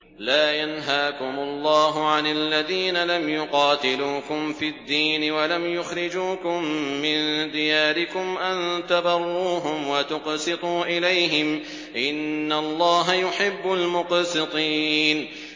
لَّا يَنْهَاكُمُ اللَّهُ عَنِ الَّذِينَ لَمْ يُقَاتِلُوكُمْ فِي الدِّينِ وَلَمْ يُخْرِجُوكُم مِّن دِيَارِكُمْ أَن تَبَرُّوهُمْ وَتُقْسِطُوا إِلَيْهِمْ ۚ إِنَّ اللَّهَ يُحِبُّ الْمُقْسِطِينَ